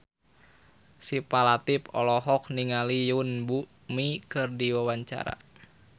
Syifa Latief olohok ningali Yoon Bomi keur diwawancara